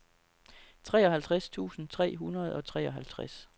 treoghalvtreds tusind tre hundrede og treoghalvtreds